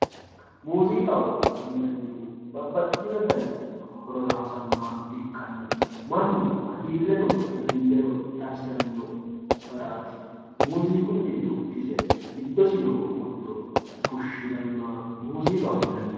muuziiqaho yinannihu babbaxxino dani horora hosannoha ikkanna mannu hagiirreno dadilleno xawisiranno garaati muuziiqunni dukkise giddosi noo qurto fushshirannoha muuziiqaho yinanni.